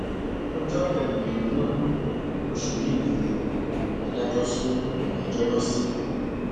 ọjọ kẹrìndínlógún oṣù yìí ni adájọ sún ìgbẹjọ náà sí